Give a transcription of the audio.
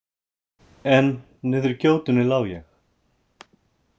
En niðri í gjótunni lá ég.